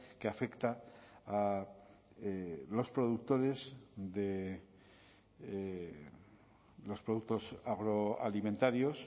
que afecta a los productores de los productos agroalimentarios